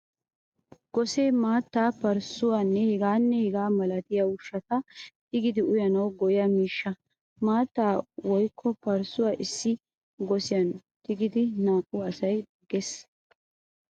Gosse maattaa, parssuwaanne hegaanne hegaa milatiya ushshata tigidi uyanawu go'iya miishshaa. Mattaa woykko parssuwaa issi gosiyan tigidi naa'u asay daggettees.